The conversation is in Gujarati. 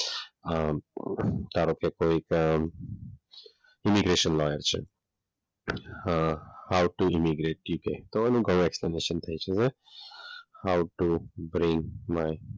અમ ધારો કે કોઈક અમ ઈમિગ્રેશન લોયર છે. Hmm how to emigrate